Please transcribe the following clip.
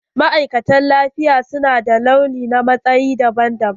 Ma'aikata na lafiya su na da launi na matsayi daban daban.